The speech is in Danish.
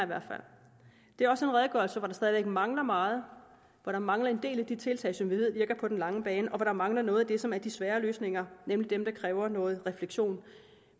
hvert fald det er også en redegørelse hvor der stadig væk mangler meget hvor der mangler en del af de tiltag som vi ved virker på den lange bane og hvor der mangler noget af det som er de svære løsninger nemlig dem der kræver noget refleksion